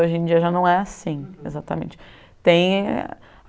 Hoje em dia, já não é assim exatamente. Tem